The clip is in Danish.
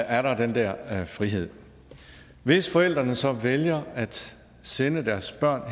er der den der frihed hvis forældrene så vælger at sende deres børn